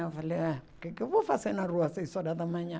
Eu falei, ah, o que que eu vou fazer na rua seis horas da manhã?